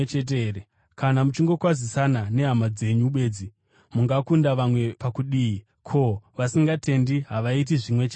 Kana muchingokwazisana nehama dzenyu bedzi, mungakunda vamwe pakudii? Ko, vasingatendi havaiti zvimwe chetezvo here?